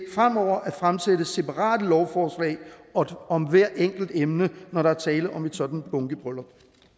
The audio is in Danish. fremover at fremsætte separate lovforslag om hvert enkelt emne når der er tale om et sådant bunkebryllup